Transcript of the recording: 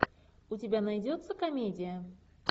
у тебя найдется комедия